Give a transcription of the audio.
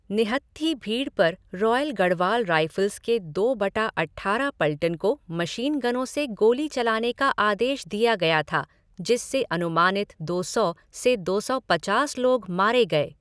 निहत्थी भीड़ पर royal Garhwal rifles के दो बटा अट्ठारह पल्टन को मशीनगनों से गोली चलाने का आदेश दिया गया था जिससे अनुमानित दो सौ से दो सौ पचास लोग मारे गए।